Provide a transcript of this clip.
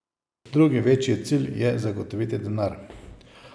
Drugi večji cilj je zagotoviti denar.